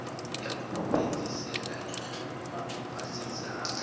ya u fhedzisela ya vhasidzana